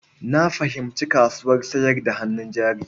Na fahimci kasuwar sayar da hannun jari.